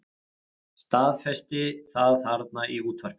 Staðfesti það þarna í útvarpinu.